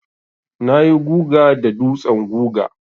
Na yi guga da dutsen guga.